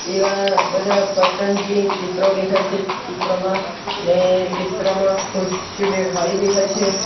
તેવા બધા ચિત્રો દેખાય છે ચિત્રોમાં ને ચિત્રોમાં ખુરશીઓ બે ખાલી દેખાય છે.